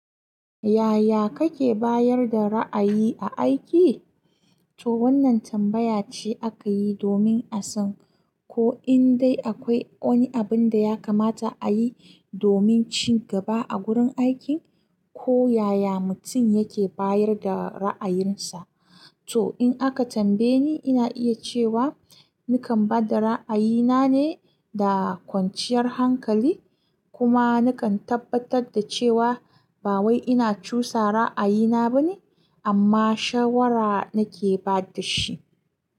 Yaya kake bayar da ra'ayi a aiki? Toh wannan tambaya ce aka yi domin a san ko in dai akwai wani abin da ya kamata a yi domin ci gaba a gurin aikin, ko yaya mutum yake bayar da ra'ayinsa. To in aka tambaye ni, ina iya cewa nakan ba da ra'ayina ne da kwanciyar hankali, kuma nakan tabbatar da cewa ba wai ina cusa ra'ayina ba ne, amma shawara nake ba da shi.